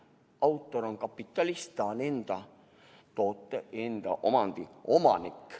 Autor on kapitalist, ta on enda toote, enda omandi omanik.